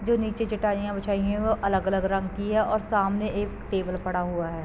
जो नीचे चटाईयाँ बिछाई हैं वो अलग-अलग रंग की हैं और सामने एक टेबल पड़ा हुआ है।